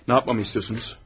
Nə yapmamı istiyorsunuz?